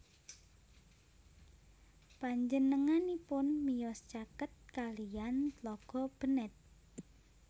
Panjenenganipun miyos caket kaliyan Tlaga Bennett